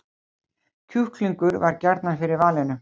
Kjúklingur varð gjarnan fyrir valinu